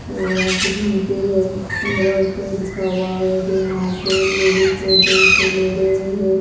वो यहां पे झुमके हैं पंद्रह रुपए लिखा हुआ है जो यहां पे लेडिस है दो जो ले रहे है।